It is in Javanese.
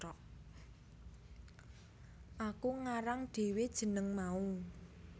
Aku ngarang dhewe jeneng mau